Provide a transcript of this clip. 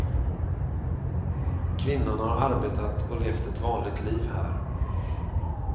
Kvinnan har arbetat och levt ett vanligt liv här.